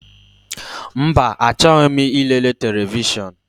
Mba, achọghị m ilere televishọn.